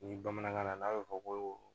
Ni bamanankan na n'a bɛ fɔ ko